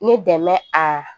Ne dɛmɛ a